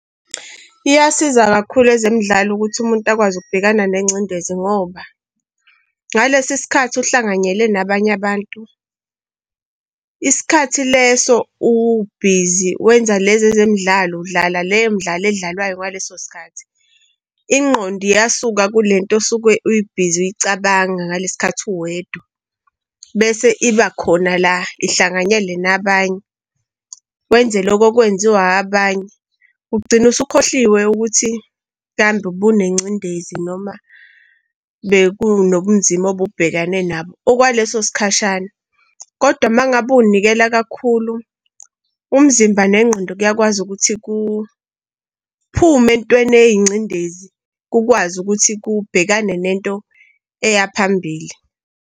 Iyasiza kakhulu ezimidlalo ukuthi umuntu akwazi ukubhekana nengcindezi ngoba ngalesi sikhathi uhlanganyele nabanye abantu, isikhathi leso ubhizi wenza lezi ezemidlalo, udlala le midlalo elidlalwayo ngaleso sikhathi. Ingqondo iyasuka kule nto osuke u-busy uyicabanga ngale sikhathi uwedwa. Bese iba khona la ihlanganyele nabanye. Wenze lokho okwenziwe abanye, ugcine usukhohliwe ukuthi mhlampe ubunengcindezi noma bekunobunzima obubhekane nabo okwaleso sikhashana. Kodwa uma ngabe uy'nikela kakhulu, umzimba nengqondo kuyakwazi ukuthi kuphume ey'ntweni ey'ngcindezi, kukwazi ukuthi kubhekane nento eyaphambili.